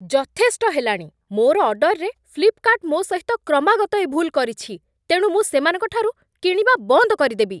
ଯଥେଷ୍ଟ ହେଲାଣି, ମୋର ଅର୍ଡରରେ ଫ୍ଲିପ୍‌କାର୍ଟ୍ ମୋ ସହିତ କ୍ରମାଗତ ଏ ଭୁଲ୍ କରିଛି, ତେଣୁ ମୁଁ ସେମାନଙ୍କଠାରୁ କିଣିବା ବନ୍ଦ କରିଦେବି।